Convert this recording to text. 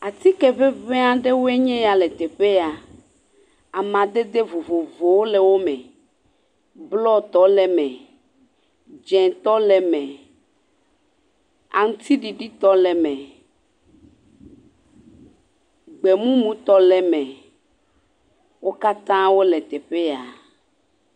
Atike ŋeŋe aɖewoe nye ya le teƒe ya. Amadede vovovowo le wome. Blɔɔtɔ le eme. Dzẽtɔ le eme. Aŋutiɖiɖitɔ le eme. Gbemumutɔ le eme. Wo katã wole teƒe ya.